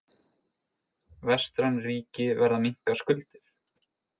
Vestræn ríki verða að minnka skuldir